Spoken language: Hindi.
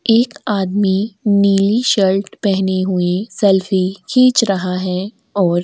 एक आदमी नीली शर्ट पहने हुए सेल्फी खींच रहा है और --